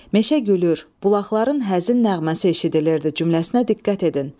Meşə gülür, bulaqların həzin nəğməsi eşidilirdi cümləsinə diqqət edin.